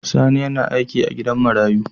Sani yAna aiki a gidan marayu